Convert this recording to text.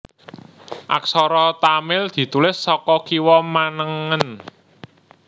Aksara Tamil ditulis saka kiwa manengen